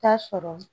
Taa sɔrɔ